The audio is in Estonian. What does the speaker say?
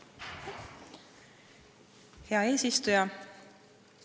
Hea eesistuja!